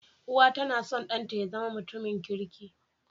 Uwa tAna son dan ta yazama mutum kirki